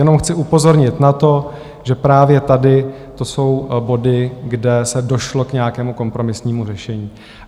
Jenom chci upozornit na to, že právě tady to jsou body, kde se došlo k nějakému kompromisnímu řešení.